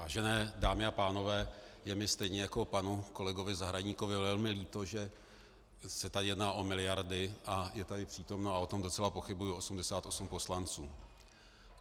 Vážené dámy a pánové, je mi stejně jako panu kolegovi Zahradníkovi velmi líto, že se tady jedná o miliardy a je tady přítomno, a o tom docela pochybuji, 88 poslanců.